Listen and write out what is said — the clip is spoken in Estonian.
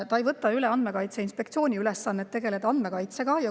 See ei võta üle Andmekaitse Inspektsiooni ülesannet tegeleda andmekaitsega.